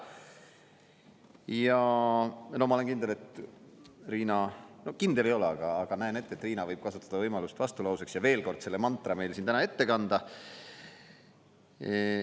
Ja ma olen kindel, et Riina, no kindel ei ole, aga näen ette, et Riina võib kasutada võimalust vastulauseks ja veel kord selle mantra meile siin täna ette kanda.